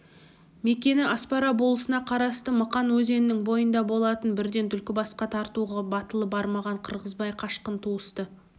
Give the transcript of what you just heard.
мекені аспара болысына қарасты мықан өзенінің бойында болатын бірден түлкібасқа тартуға батылы бармаған қырғызбай қашқын туысты